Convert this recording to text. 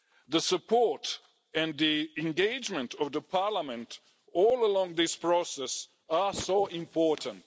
The support and the engagement of Parliament all along this process are so important.